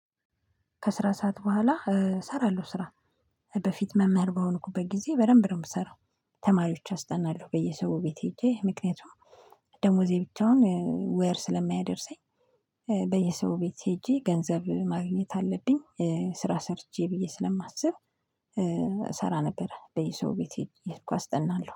ከስራ ሰዓት በኋላ እሰራለሁ ስራ በፊት መምህር በሆንኩበት ጊዜ በደንብ ነው የምሰራው። ተማሪዎች አስጠናለሁ በየሰው ቤት ሄጄ ምክንያቱም ደሞዜ ብቻውን ወር ስለማያደርሰኝ። በየሰው ቤት ሄጄ ገንዘብ ማግኘት አለብኝ ስራ ሰርቼ ብዬ ስለማስብ። እሰራ ነበር በየሰው ቤት አየሄድኩ አስጠናለሁ